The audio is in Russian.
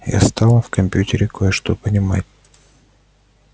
я стала в компьютере кое-что понимать